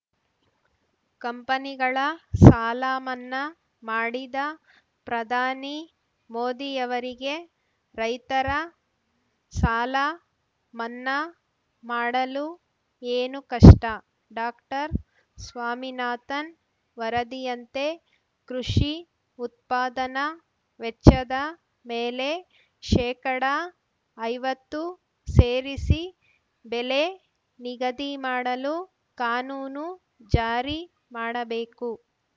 ಕಂಪನಿಗಳ ಸಾಲ ಮನ್ನಾ ಮಾಡಿದ ಪ್ರಧಾನಿ ಮೋದಿಯವರಿಗೆ ರೈತರ ಸಾಲ ಮನ್ನಾ ಮಾಡಲು ಏನು ಕಷ್ಟ ಡಾಕ್ಟರ್ ಸ್ವಾಮಿನಾಥನ್‌ ವರದಿಯಂತೆ ಕೃಷಿ ಉತ್ಪಾದನಾ ವೆಚ್ಚದ ಮೇಲೆ ಶೇಕಡಾ ಐವತ್ತು ಸೇರಿಸಿ ಬೆಲೆ ನಿಗದಿ ಮಾಡಲು ಕಾನೂನು ಜಾರಿ ಮಾಡಬೇಕು